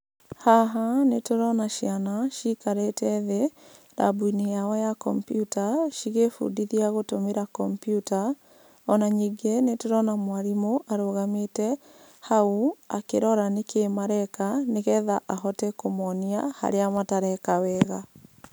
Haha, nĩtũrona ciana cikarĩte thĩ rambu-inĩ yao ya kompiuta, cigĩbundithia gũtũmĩra kompiuta. Ona ningĩ nĩtũrona mwarimũ, arũgamĩte hau akĩrora nĩkĩ mareka, nĩgetha ahote kũmonia harĩa matareka wega.